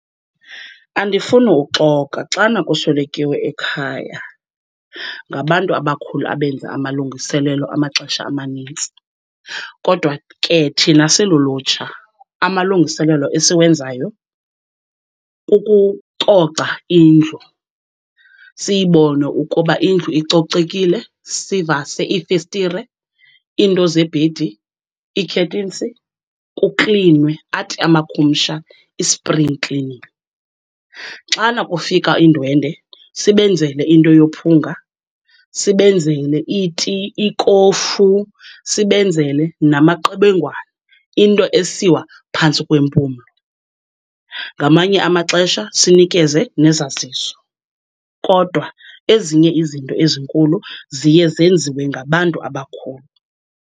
Andifuni uxoka, xana kuswelekiwe ekhaya ngabantu abakhulu abenza amalungiselelo amaxesha amanintsi. Kodwa ke thina silulutsha amalungiselelo esiwenzayo kukucoca indlu, siyibone ukuba indlu icocekile. Sivase iifestire, iinto zebhedi, ii-curtains, kuklinwe, athi amakhumsha i-spring cleaning. Xana kufika iindwendwe sibenzele into yophunga, sibenzele iti, ikofu, sibenzele namaqebengwana, into esiwa phantsi kwempumlo. Ngamanye amaxesha sinikeze nezaziso. Kodwa ezinye izinto ezinkulu ziye zenziwe ngabantu abakhulu.